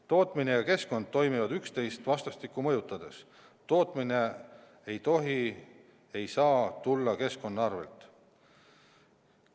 Tootmine ja keskkond toimivad üksteist vastastikku mõjutades, tootmine ei tohi käia keskkonna arvel.